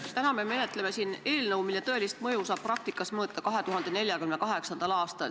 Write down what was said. Täna me menetleme siin eelnõu, mille tõelist mõju saab praktikas mõõta 2048. aastal.